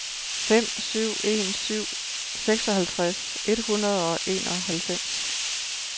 fem syv en syv seksoghalvtreds et hundrede og enoghalvfems